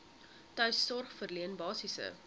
tuissorg verleen basiese